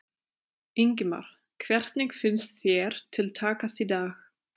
Ingimar: Hvernig finnst þér til takast í dag?